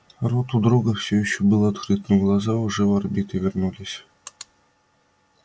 рот у друга был все ещё открыт но глаза уже в орбиты вернулись